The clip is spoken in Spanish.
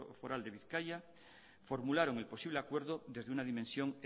foral de bizkaia formularon el posible acuerdo desde una dimensión